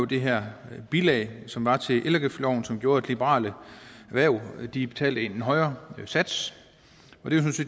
det her bilag som var til elafgiftsloven som gjorde at liberale erhverv betalte en højere sats